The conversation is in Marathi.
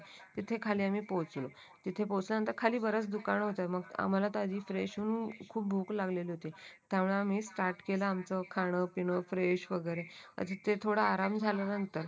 तिथे खाली आम्ही पोहोचलो तिथे पोहोचल्यानंतर खाली बरेच दुकान होते आम्हाला आधी तर फ्रेश होऊन खूप भूक लागली होती त्यामुळे आम्ही स्टार्ट केला आमचं खाणं-पिणं फ्रेश वगैरे अजूक ते थोडा आराम झाल्या नंतर